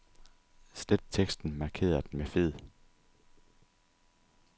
Slet teksten markeret med fed.